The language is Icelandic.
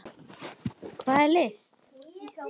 Hvað er list?